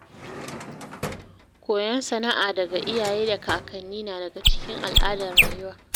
Koyon sana’a daga iyaye da kakanni na daga cikin al’adar rayuwa.